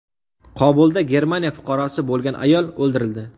Kobulda Germaniya fuqarosi bo‘lgan ayol o‘ldirildi.